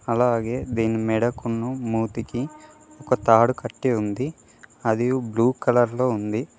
అలాగే దీని మెడకున్న మూతికి ఒక తాడు కట్టి ఉంది అది బ్లూ కలర్ లో ఉంది.